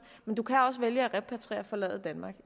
men du kan også vælge at repatriere og forlade danmark i